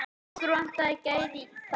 Okkur vantaði gæði þar.